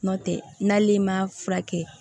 N'o tɛ n'ale ma furakɛ